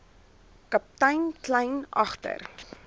kaptein kleyn agter